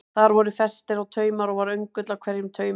Þar voru festir á taumar og var öngull á hverjum taumi.